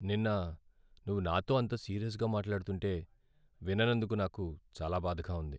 నిన్న నువ్వు నాతో అంత సీరియస్గా మాట్లాడుతుంటే విననందుకు నాకు చాలా బాధగా ఉంది.